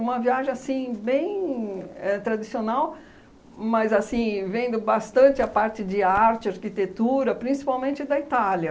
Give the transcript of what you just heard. viagem bem éh tradicional, mas, assim, vendo bastante a parte de arte, arquitetura, principalmente da Itália.